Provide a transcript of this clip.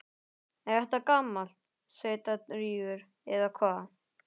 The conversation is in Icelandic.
Er þetta gamall sveitarígur, eða hvað?